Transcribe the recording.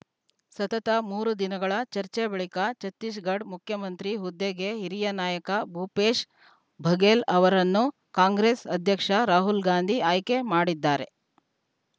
ಸತತ ಮೂರು ದಿನಗಳ ಚರ್ಚೆ ಬಳಿಕ ಛತ್ತೀಸ್‌ಗಢ ಮುಖ್ಯಮಂತ್ರಿ ಹುದ್ದೆಗೆ ಹಿರಿಯ ನಾಯಕ ಭೂಪೇಶ್‌ ಬಘೇಲ್‌ ಅವರನ್ನು ಕಾಂಗ್ರೆಸ್‌ ಅಧ್ಯಕ್ಷ ರಾಹುಲ್‌ ಗಾಂಧಿ ಆಯ್ಕೆ ಮಾಡಿದ್ದಾರೆ